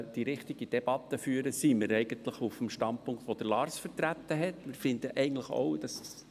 Zu Hauptziel D, Wohn- und Arbeitsstandorte differenziert aufwerten, Seite 29 im RPB 2018, Gemeinden müssen den Gewässerraum ausscheiden: